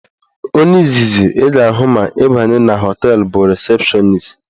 Onye izizi ị ga-ahụ ma ị banye na họteelụ bụ rịsepshọnist